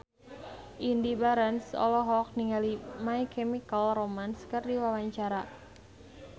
Indy Barens olohok ningali My Chemical Romance keur diwawancara